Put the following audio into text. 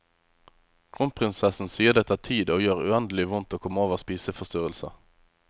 Kronprinsessen sier det tar tid og gjør uendelig vondt å komme over spiseforstyrrelser.